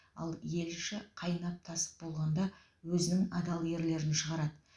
ал ел іші қайнап тасып болғанда өзінің адал ерлерін шығарады